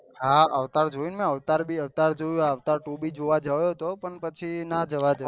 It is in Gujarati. હા અવતાર જોયું ને અવતાર ભી અવતાર જોયું અવતાર ટુ ભી જોવા ગયે હતો પણ પછી ના જવાય